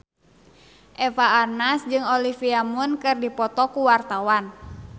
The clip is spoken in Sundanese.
Eva Arnaz jeung Olivia Munn keur dipoto ku wartawan